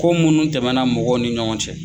Ko munu tɛmɛna mɔgɔw ni ɲɔgɔn cɛ.